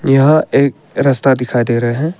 यह एक रस्ता दिखाई दे रहे हैं।